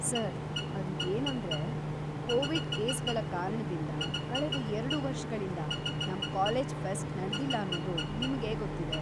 Sir, ಅದು ಏನಂದ್ರೆ, Covid ಕೇಸ್‌ಗಳ ಕಾರಣದಿಂದ ಕಳೆದ ಎರ್ಡು ವರ್ಷಗಳಿಂದ‌ ನಮ್‌ ಕಾಲೇಜ್‌ ಫೆಸ್ಟ್‌ ನಡ್ದಿಲ್ಲ ಅನ್ನೋದು ನಿಮ್ಗೆ ಗೊತ್ತಿದೆ.